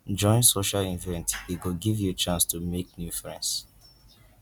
join social events e go give you chance to make new friends